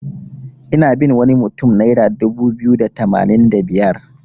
Ina bin wani mutun naira dubu biyu da tamanin da biyar.